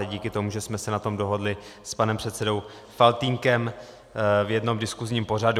A díky tomu, že jsme se na tom dohodli s panem předsedou Faltýnkem v jednom diskusním pořadu.